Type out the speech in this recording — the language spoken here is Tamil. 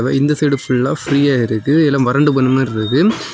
இந்த சைடு ஃபுல்லா ஃப்ரீயா இருக்கு இதுல மருந்து பண்ண மாதிரி இருக்கு.